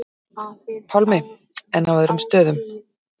Pálmi: En á öðrum stöðum?